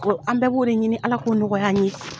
Ko an bɛɛ b'o de ɲini ala k'o nɔgɔya an ye.